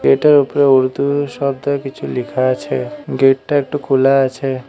Gate এর উপরে উর্দু শব্দে কিছু লিখা আছে গেট টা একটু খুলা আছে।